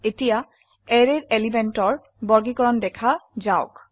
এতিয়া অ্যাৰেৰ এলিমেন্টৰ বৰ্গীকৰণ দেখা যাওক